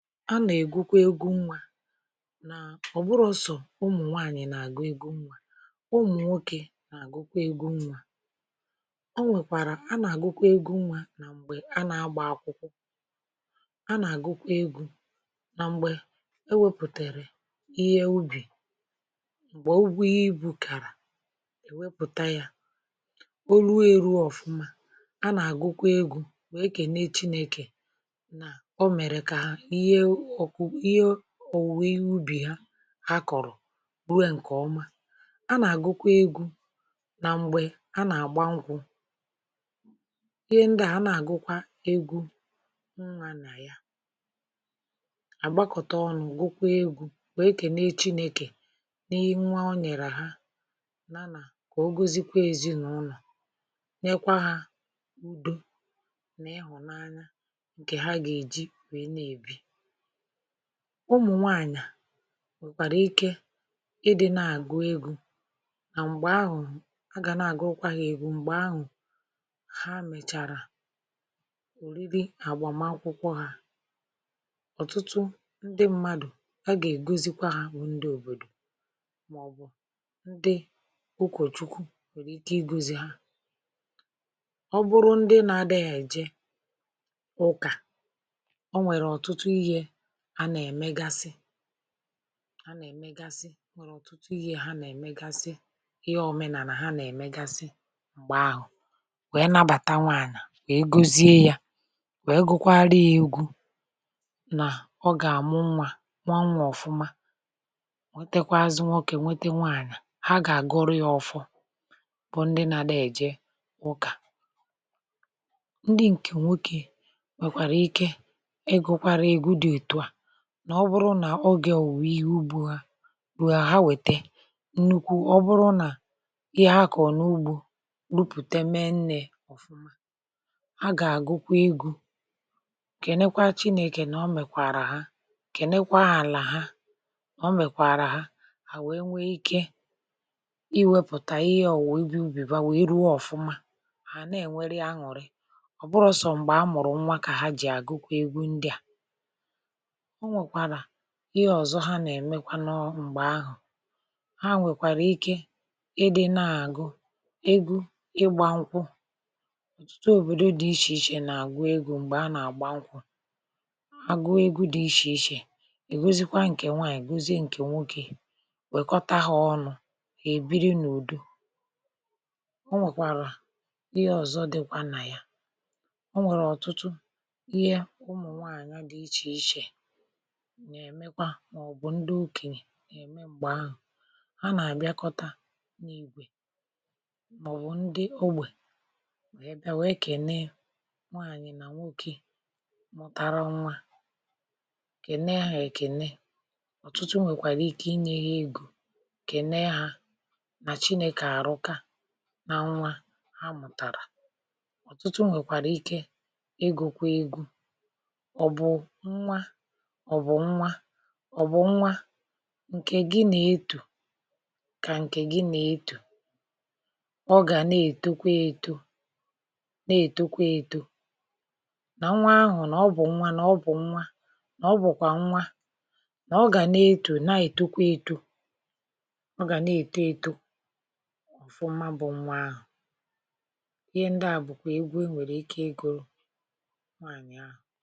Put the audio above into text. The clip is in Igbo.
anà ègụkwọ egwu nwȧ nà ọ̀ bụrọsọ̀ ụmụ̀ nwaànyị̀ nà-àgụ egwu nwȧ um ụmụ̀ nwokè nà-àgụkwọ egwu nwȧ o nwèkwàrà anà àgụkwọ egwu nwȧ nà m̀gbè anà agbà akwụkwọ anà àgụkwọ egwu̇ nà m̀gbè e wėpùtèrè ihe ubì m̀gbè ọ bụ ibu̇ kàrà èwepùta yȧ olu eru ọ̀fụma um anà àgụkwọ egwu̇ nwèe kè n’echi n’ekè ihe ọ̀wụ̀wee ubì ha kọ̀rọ̀ buė ǹkè ọma a nà-àgụkwa egwu nà m̀gbè a nà-àgba nkwu̇ ihe ndịà a nà-àgụkwa egwu nwaànà ya àgbakọ̀ta ọnụ̇ gụkwa egwu̇ wèe kè ne chinėkè n’ihe nwa ọ nyèrè ha nana kà ogozikwa èzinàụlọ̀ nyekwa hȧ udo nà ịhụ̀nanya ǹkè ha gà-èji wèe na-èbi ụmụ̀nwaànyà nwèkwàrà ike ịdị̇ na-àgụ egwu nà m̀gbè ahụ̀ a gà na-àgụ ụkwȧ yȧ ègbu m̀gbè ahụ̀ ha mèchàrà òriri àgbàmakwụkwọ hȧ um ọ̀tụtụ ndị mmadụ̀ a gà-ègozikwa ha bụ̀ ndị òbòdò màọ̀bụ̀ ndị okòchukwu òlèriche igȯzi ha ọ bụrụ ndị na-adị̇ghị̀ èje ụkà anà-èmegasị anà-èmegasị nwèrè ọ̀tụtụ ihe hȧ nà-èmegasị ihe òmenàlà ha nà-èmegasị m̀gbè ahụ̀ wèe nabàta nwaànà wèe gozie yȧ wèe gụkwaa ree egwu̇ nà ọ gà-àmụ nwȧ nwaa nwaànwa ọ̀fụma wètekwazị nwọkè nwete nwaànà ha gà-àgọrị ọfụ bụ ndị nà-àdọ èje ụkà ndị ǹkè nwoke nwèkwàrà ike nà ọ bụrụ nà ogė òwùihe ubu ha wèe ha wète nnukwu̇ ọ bụrụ nà ihe ha kọ̀ọ̀ n’ugbȯ rupùte mennė ọ̀fụma ha gà-àgụkwa egȯ kènekwa chinėkè nà ọ mẹ̀kwàrà ha kènekwa ȧlà ha ọ mẹ̀kwààrà ha à wèe nwe ikė i wėpùtà ihe ọ̀ wòe bi ubìba wèe ruo ọ̀fụma hà à na-ènwere ya ñùri ọ̀ bụrọ̇sọ̀ m̀gbè a mụ̀rụ̀ nwa kà ha jì àgụkwa egwu ndị à o nwèkwàrà ihe ọ̀zọ ha nà-ème n’ọwụ m̀gbè ahụ̀ ha nwèkwàrà ike ịdị̇ na-àgụ egwu ịgbȧnkwụ̇ òtùtu òbòdo dị ichè ichè nà-àgụ egwu m̀gbè a nà-àgba nkwụ̇ agụegwu dị ichè ichè ègosikwa ǹkè nwaànyègozie ǹkè nwokė nwèkọ̀tà ha ọnụ̇ èbiri n’ùdu o nwèkwàrà ihe ọ̀zọ dịkwa nà ya um o nwèrè ọ̀tụtụ ihe ụmụ̀ nwaànyà dị ichè ichè nà-èmekwa màọbụ̀ ndị okènyè nà-ème m̀gbè ahụ̀ ha nà-àbịakọta n’ìgwè màọbụ̀ ndị ogbè wèe kène nwaanyị̀ nà nwokė mụ̀tara nwa kènne hȧ èkène ọ̀tụtụ nwèkwàrà ike inyė ha egȯ kène hȧ nà chinėkà àrụka nȧ nwa ha mụ̀tàrà ọ̀tụtụ nwèkwàrà ike egȯkwa egwu ọ̀bụ̇ ọ̀ bụ̀ nwa ọ̀ bụ̀ nwa ǹkè gị nà-etù kà ǹkè gị nà-etù ọ gà na-èto eto na-ètokwa eto nà nwa ahụ̀ nà ọ bụ̀ nwa nà ọ bụ̀ nwa nà ọ bụ̀kwà nwa nà ọ gà na-etù na-ètokwa eto ọ gà na-èto eto ọ̀fụma bụ̀ nwa ahụ̀ ihe ndịa bụ̀kwà egwu e nwèrè ike egȯ nwaànyị̀ ahụ̀